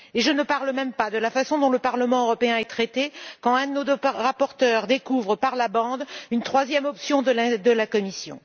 Et je ne parle même pas de la façon dont le Parlement européen est traité quand un de nos rapporteurs découvre par la bande une troisième option de la Commission.